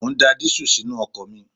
Mo ń da dísù sínú ọkọ̀ mi